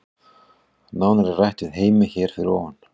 Nánar er rætt við Heimi hér fyrir ofan.